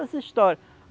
Essa história.